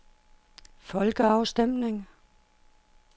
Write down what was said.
folkeafstemning